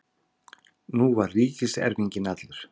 Nú var ríkiserfinginn allur.